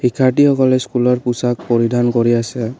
শিক্ষাৰ্থী সকলে স্কুলৰ পোছাক পৰিধান কৰি আছে।